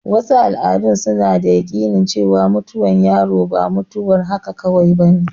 Wasu al'adun suna da yaƙinin cewar mutuwar yaro ba mutuwar haka kawai bane.